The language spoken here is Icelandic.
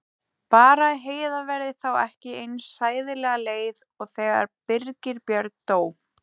Bara að Heiða verði þá ekki eins hræðilega leið og þegar Birgir Björn dó.